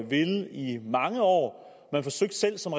villet i mange år man forsøgte selv som